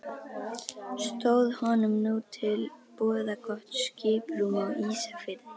Stóð honum nú til boða gott skiprúm á Ísafirði.